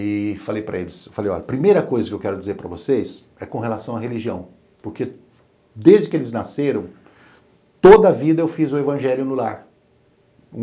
E falei para eles, falei, olha, a primeira coisa que eu quero dizer para vocês é com relação à religião, porque desde que eles nasceram, toda a vida eu fiz o evangelho no lar.